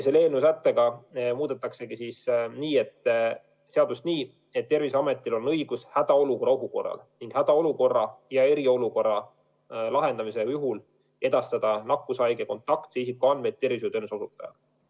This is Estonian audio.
Selle sättega muudetaksegi seadust nii, et Terviseametil on õigus hädaolukorra ohu korral ning hädaolukorra ja eriolukorra lahendamise korral edastada nakkushaige kontaktse isiku andmeid tervishoiuteenuse osutajale.